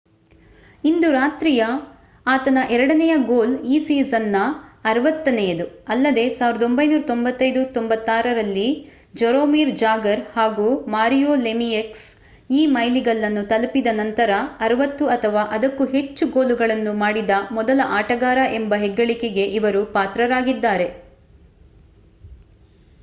ಇಂದು ರಾತ್ರಿಯ ಆತನ ಎರಡನೆಯ ಗೋಲ್ ಈ ಸೀಸನ್ ನ 60ನೆಯದು ಅಲ್ಲದೇ 1995 -96 ರಲ್ಲಿ ಜರೋಮಿರ್ ಜಾಗರ್ ಹಾಗೂ ಮಾರಿಯೋ ಲೆಮಿಯಕ್ಸ್ ಈ ಮೈಲಿಗಲ್ಲನ್ನು ತಲುಪಿದ ನಂತರ 60 ಅಥವಾ ಅದಕ್ಕೂ ಹೆಚ್ಚು ಗೋಲುಗಳನ್ನು ಮಾಡಿದ ಮೊದಲ ಆಟಗಾರ ಎಂಬ ಹೆಗ್ಗಳಿಕೆಗೆ ಇವರು ಪಾತ್ರರಾಗಿದ್ದಾರೆ